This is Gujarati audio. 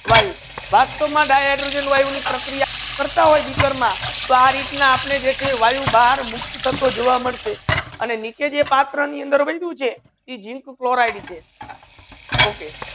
વાયુ વસ્તવ મા di hydrogen વાયુ ની પ્રક્રિયા કરતા હોય બીકર મા તો આ રીત્ના આપને જે છે ઇ વાયુ ભાર મુક્ત થતો જોવા મલસે એને નીચે જે પાત્ર ની અંદર જે બેચુ તે zinc fluoride છે Okay